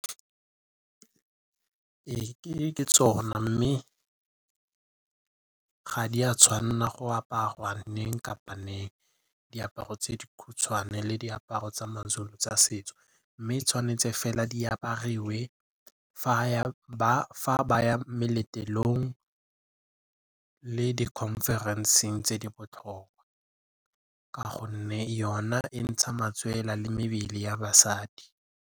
Ke tsona mme ga di a tshwanna go aparwa nneng kapa neng, diaparo tse dikhutshwane le diaparo tsa Mazulu tsa setso mme tshwanetse fela di apariwe fa baya meletlong le di-conference-ng tse di botlhokwa ka gonne yona e ntsha matswele le mebele ya basadi.